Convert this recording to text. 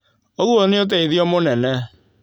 ũguo nĩ ũteithio mũnene.